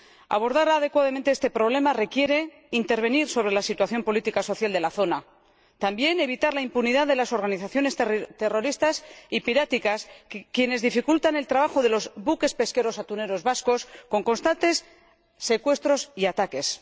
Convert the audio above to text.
Abordar adecuadamente este problema requiere intervenir sobre la situación política y social de la zona y también evitar la impunidad de las organizaciones terroristas y piráticas, que dificultan el trabajo de los buques pesqueros atuneros vascos con constantes secuestros y ataques.